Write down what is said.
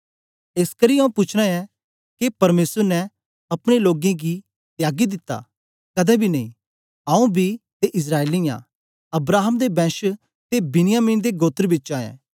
एसकरी आऊँ पूछना ऐं के परमेसर ने अपने लोकें गी त्यागी दिता कदें बी नेई आऊँ बी ते इस्राएली आं अब्राहम दे बैंश ते बिन्यामिन दे गोत्र बिचा ऐं